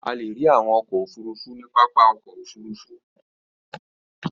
A le rí àwọn ọkọ̀-òfurufú ní pápá ọkọ̀-òfurufú.